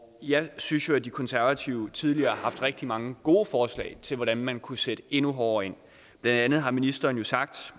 jeg synes jo at de konservative tidligere har haft rigtig mange gode forslag til hvordan man kunne sætte endnu hårdere ind blandt andet har ministeren sagt